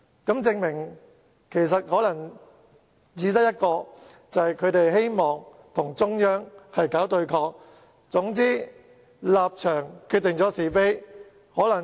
這證明他們只希望與中央搞對抗，總之立場決定是非。